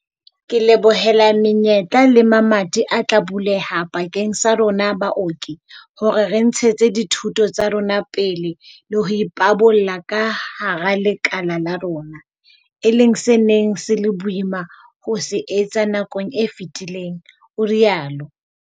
"Ke lebohela menyetla le mamati a tla buleha bakeng sa rona baoki hore re ntshetse dithuto tsa rona pele le ho ipabola ka hara lekala la rona, e leng se neng se le boima ho se etsa nakong e fetileng," o rialo.